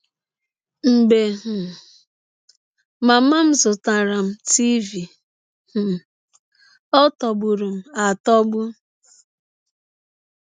“ Mgbe um mama m zụtaara m tiịvi um, ọ tọgbụrụ m atọgbụ!